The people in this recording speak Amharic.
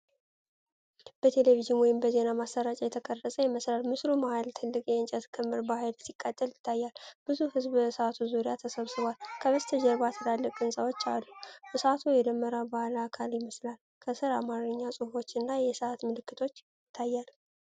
በቴሌቪዥን ወይም በዜና ማሰራጫ የተቀረፀ ይመስላል። በምስሉ መሀል ትልቅ የእንጨት ክምር በኃይል ሲቃጠል ይታያል። ብዙ ሕዝብ በእሳቱ ዙሪያ ተሰብስቧል። ከበስተጀርባ ትላልቅ ሕንፃዎች አሉ። እሳቱ የደመራ በዓል አካል ይመስላል፤ ከሥር አማርኛ ጽሑፎችና የሰዓት ምልክት ይታያል።